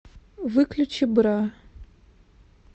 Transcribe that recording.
выключи бра